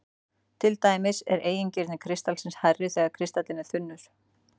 Til dæmis er eigintíðni kristals hærri þegar kristallinn er þunnur.